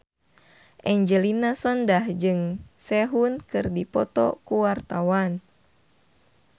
Angelina Sondakh jeung Sehun keur dipoto ku wartawan